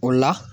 O la